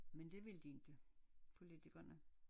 Men det vil de ikke politikerene